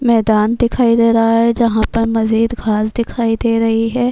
میدان دکھائی دے رہا ہے۔ جہا پر مجید گھاس دکھائی دے رہی ہے۔